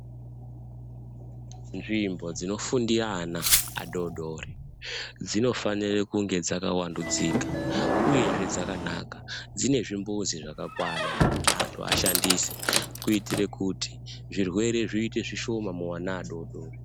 Nzvimbo dzinofundira ana adodori dzinofanire kunge dzakawandudzika uyezve dzakanaka dzine zvimbuzi zvakakwana zvekuti anhu ashandise kuitire kuti zvirwere zviite zvishoma muana adodori.